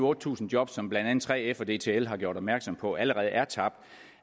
otte tusind job som blandt andet 3f og dtl har gjort opmærksom på allerede er tabt